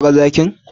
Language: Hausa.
Ka ga zakin?